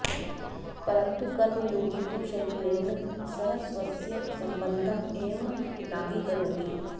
परन्तु कर्मयोगी तु शरीरेण सह स्वस्य सम्बन्धम् एव नाङ्गीकरोति